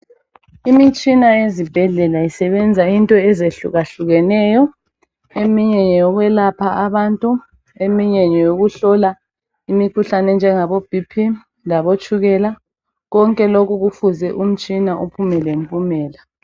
Imitshina yezibhedlela isebenza into ezehlukahlukeneyo ,eminye ngeyokwelapha abantu eminye ngeyokuhlola imikhuhlane enjengaboBP labotshukela ,konke lokhu kufuze umtshina uphume lempumela.